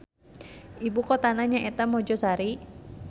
Ibukotana nyaeta Mojosari.